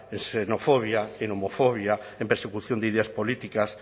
en xenofobia en homofobia en persecución de ideas políticas